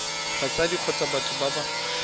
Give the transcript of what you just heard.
batsadi kgotsa batho ba ba